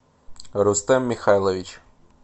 рустем михайлович